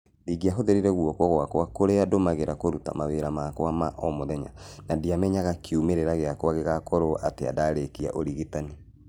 Ndingĩahũthĩrire guoko gũakwa kũrĩa ndũmagĩra kuruta mawĩra makwa ma omũthenya na ndiamenyaga kiumĩrĩra gĩakwa gĩgakorwo atĩa ndarĩkia ũrigitani.